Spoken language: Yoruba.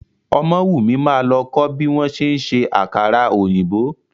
Ọmọ́wùmí máa lọ kó bí wọ́n ṣe ń ṣe àkàrà òyìnbó.